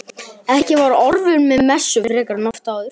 Ekki var Ormur við messu frekar en oft áður.